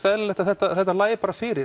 eðlilegt að þetta þetta lægi bara fyrir